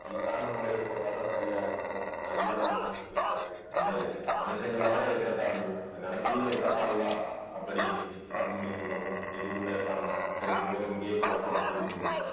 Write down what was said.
ஈசான மூலையில போட்டாதான் சரியா இருக்கும் ஆனா ஐயா வேண்டான்னு சொல்லிட்டாரு என்னய்யா மனுஷங்கள்லதான் ஏற்றத்தாழ்வு இந்த நிலத்திலேயே ஏற்றத்தாழ்வா அப்படின்னு அருள்மொழி சொல்லவும் எதுவும் பேசாம சரி bore இங்கேயே போடுறோம் அப்படின்னு சொல்லி